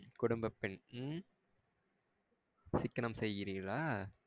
குடும்ப பென் உம் சிக்கனம் செயிகிறிர்களா?